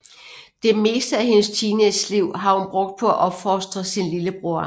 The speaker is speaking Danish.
Det meste af hendes teenageliv har hun brugt på at opfostre sin lillebror